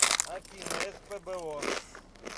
афина спбо